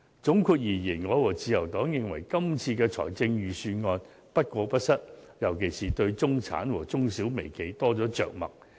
總括而言，我和自由黨認為今次的預算案不過不失，尤其是對中產和中、小、微企多了着墨。